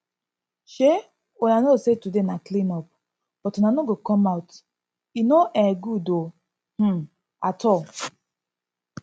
um una know say today na clean up but una no go come out e no um good um at all